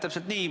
Täpselt nii.